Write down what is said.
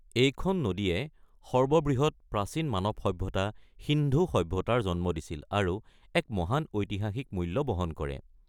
এইখন নদীয়ে সৰ্ববৃহৎ প্ৰাচীন মানৱ সভ্যতা, সিন্ধু সভ্যতাৰ জন্ম দিছিল আৰু এক মহান ঐতিহাসিক মূল্য বহন কৰে।